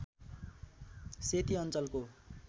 सेती अञ्चलको